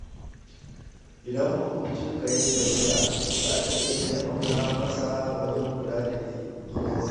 Idan makwabcinka ya yi tafiya, za ka iya taimaka masa wajen kula da gidansa.